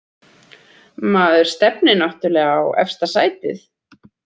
Maður stefnir náttúrlega á efsta sætið